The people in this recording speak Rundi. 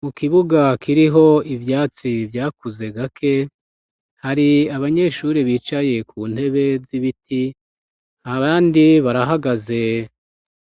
Mu kibuga kiriho ivyatsi vyakuze gake ,hari abanyeshuri bicaye ku ntebe z'ibiti ,abandi barahagaze